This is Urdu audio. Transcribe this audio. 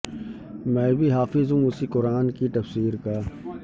میں بھی حافظ ہوں اسی قران کی تفسیر کا